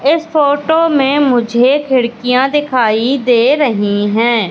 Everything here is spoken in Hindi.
इस फोटो में मुझे खिड़कियां दिखाई दे रही हैं।